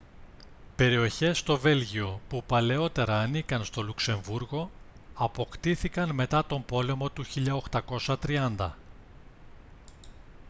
περιοχές στο βέλγιο που παλαιότερα ανήκαν στο λουξεμβρούργο αποκτήθηκαν μετά τον πόλεμο του 1830